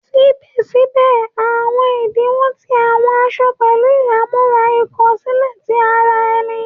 Síbè síbè, àwọn ìdíwọ̀n ti àwọn aṣọ pẹ̀lú ìhámọ́ra ìkó sílè ti ara ẹní